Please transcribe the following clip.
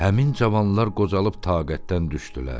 Həmin cavanlar qocalıb taqətdən düşdülər.